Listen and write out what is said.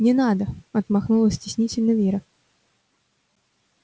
не надо отмахнулась стеснительно вера